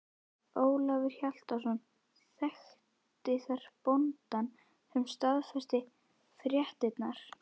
Ólafur Hjaltason þekkti þar bóndann sem staðfesti fréttirnar.